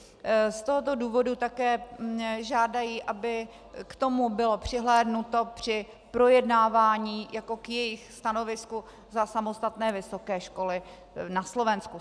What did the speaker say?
Z tohoto důvodu také žádají, aby k tomu bylo přihlédnuto při projednávání jako k jejich stanovisku za samostatné vysoké školy na Slovensku.